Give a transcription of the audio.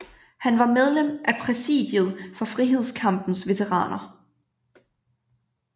Han var medlem af præsidiet for Frihedskampens Veteraner